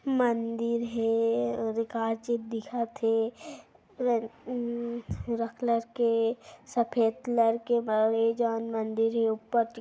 मंदिर हे और काची दिखत हे अम्म हरा कलर के सफ़ेद कलर के बरे जान मंदिर हे ऊपर दि --